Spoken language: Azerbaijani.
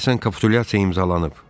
Deyəsən kapitulyasiya imzalanıb!